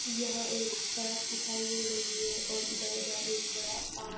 यहाँ एक सड़क दिखाई दे रही है और इधर-उधर एक बड़ा पार्क --